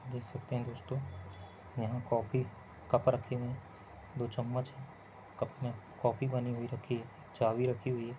देख सकते है दोस्तों यहा कॉफी कप रखे हुए है दो चम्मच है कप मे कॉफी बनी हुई रखी हुई रखी है चाय रखी हुई है।